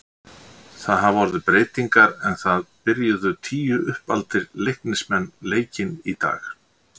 Það hafa orðið breytingar en það byrjuðu tíu uppaldir Leiknismenn leikinn í dag.